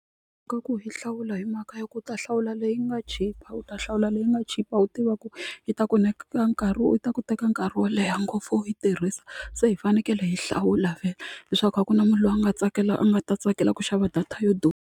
Ka ku hi hlawula hi mhaka ya ku u ta hlawula leyi nga chipa u ta hlawula leyi nga chipa u tiva ku yi ta ku nyika nkarhi ta ku teka nkarhi wo leha ngopfu u yi tirhisa se hi fanekele hi hlawula vhele leswaku a ku na munhu loyi a nga tsakela a nga ta tsakela ku xava data yo durha.